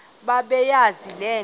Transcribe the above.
bebeyazi le nto